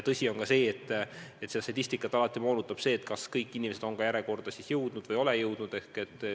Tõsi on ka see, et statistikat moonutab seegi, kas kõik inimesed on järjekorda jõudnud või ei ole jõudnud.